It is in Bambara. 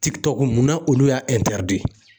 munna olu y'a de